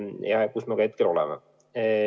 Ja hetkel me seal olemegi.